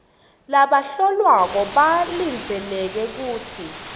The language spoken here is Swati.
labahlolwako balindzeleke kutsi